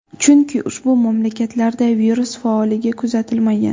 Chunki, ushbu mamlakatlarda virus faolligi kuzatilmagan.